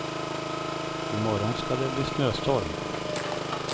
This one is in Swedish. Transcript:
I morgon ska det bli snöstorm.